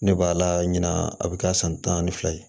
Ne b'a la ɲina a bɛ kɛ san tan ni fila ye